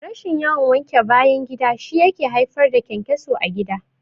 Rashin yawan wanke bayan gida shi yake haifar da ƘyanƘyaso a gida